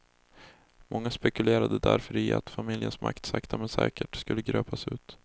Många spekulerade därför i att familjens makt sakta med säkert skulle gröpas ut.